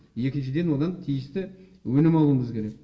екіншіден одан тиісті өнім алуымыз керек